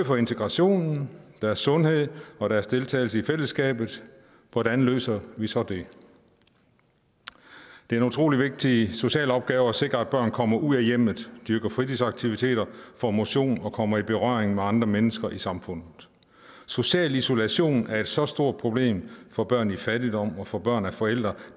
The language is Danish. for integrationen og sundheden og deres deltagelse i fællesskabet hvordan løser vi så det det er en utrolig vigtig social opgave at sikre at børn kommer ud af hjemmet dyrker fritidsaktiviteter får motion og kommer i berøring med andre mennesker i samfundet social isolation er et så stort problem for børn i fattigdom og for børn af forældre